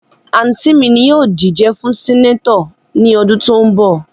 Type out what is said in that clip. Anti mi ni yoo dije fun Seneto ni odun to n bo.